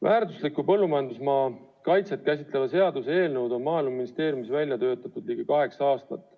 Väärtusliku põllumajandusmaa kaitset käsitlevat seaduseelnõu on Maaeluministeeriumis välja töötatud ligi kaheksa aastat.